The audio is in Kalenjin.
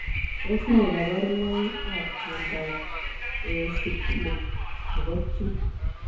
Tos nee kabaruboik ap miondoop eosipilic nepo chii?